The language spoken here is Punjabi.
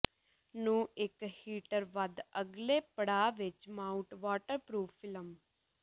ਨੂੰ ਇੱਕ ਹੀਟਰ ਵੱਧ ਅਗਲੇ ਪੜਾਅ ਵਿੱਚ ਮਾਊਟ ਵਾਟਰਪ੍ਰੂਫ਼ ਫਿਲਮ